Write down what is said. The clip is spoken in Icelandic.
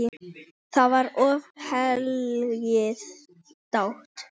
Þá var oft hlegið dátt.